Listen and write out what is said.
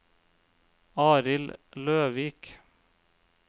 Arild Løvik